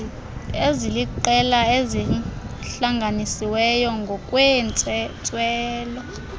eziliqela ezihlanganisiweyo ngokweentswelo